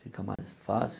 Fica mais fácil.